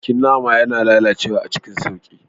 Bikin nama yana lalacewa cikin sauƙi.